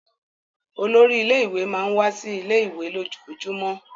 Olórí ilé-ìwé máà ń wá sí ilé-ìwé lójoojúmọ́.